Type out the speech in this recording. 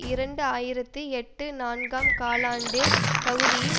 இரண்டு ஆயிரத்தி எட்டு நான்காம் காலாண்டு பகுதியில்